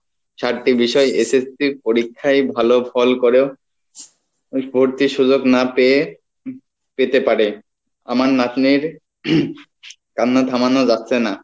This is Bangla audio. চারটে বিষয় SSC পরীক্ষায় ভালো ফল করেও সুযোগ না পেয়ে পেতে পারে আমার নাতনির কান্না থামানো যাচ্ছে না